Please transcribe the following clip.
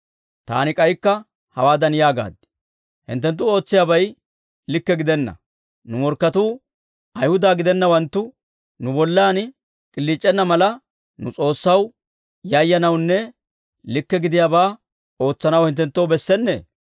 Taani k'aykka hawaadan yaagaad; «Hinttenttu ootsiyaabay likke gidenna; nu morkketuu, Ayhuda gidennawanttu nu bollan k'iliic'enna mala, nu S'oossaw yayyanawunne likke gidiyaabaa ootsanaw hinttenttoo bessennee?